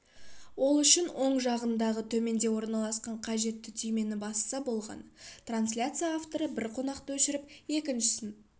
ол үшін оң жағындағы төменде орналасқан қажетті түймені басса болғаны трансляция авторы бір қонақты өшіріп екіншісін